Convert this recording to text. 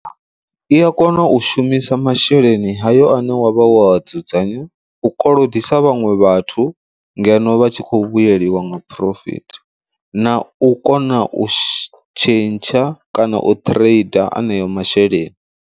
I a kona u shumisa masheleni hayo ane wavha wo dzudzanyea u kolodisa vhaṅwe vhathu ngeno vha tshi kho vhuyelwa nga phurofithi, na u kona u tshentsha kana u trader aneyo masheleni.